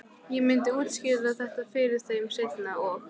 Ég myndi útskýra þetta fyrir þeim seinna- og